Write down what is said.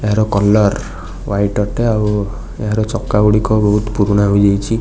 ଏହାର colour white ଅଟେ ଆଉ ଏହାର ଚକା ଗୁଡ଼ିକ ବହୁତ ପୁରୁଣା ହୋଇଯାଇଛି।